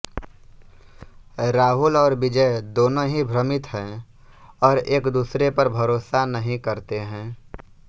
राहुल और विजय दोनों ही भ्रमित हैं और एकदूसरे पर भरोसा नहीं करते हैं